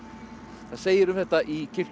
það segir um þetta í kirkjubók